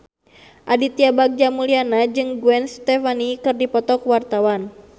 Aditya Bagja Mulyana jeung Gwen Stefani keur dipoto ku wartawan